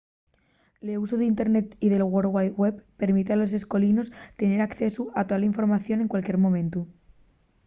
l’usu del internet y de la world wide web permite a los escolinos tener accesu a tola información en cualquier momentu